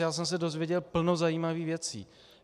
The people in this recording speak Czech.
Já jsem se dozvěděl plno zajímavých věcí.